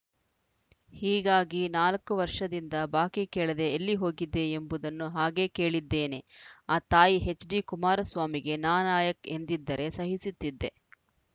ಹೀಗಾಗಿ ನಾಲ್ಕು ವರ್ಷದಿಂದ ಬಾಕಿ ಕೇಳದೆ ಎಲ್ಲಿ ಹೋಗಿದ್ದೆ ಎಂಬುದನ್ನು ಹಾಗೆ ಕೇಳಿದ್ದೇನೆ ಆ ತಾಯಿ ಎಚ್‌ಡಿ ಕುಮಾರಸ್ವಾಮಿಗೆ ನಾಲಾಯಕ್‌ ಎಂದಿದ್ದರೆ ಸಹಿಸುತ್ತಿದ್ದೆ